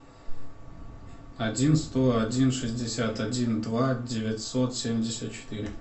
один сто один шестьдесят один два девятьсот семьдесят четыре